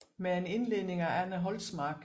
Med en innledning af Anne Holtsmark